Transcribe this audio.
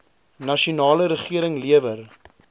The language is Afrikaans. nasionale regering lewer